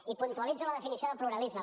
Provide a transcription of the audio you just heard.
i puntualitzo la definició de pluralisme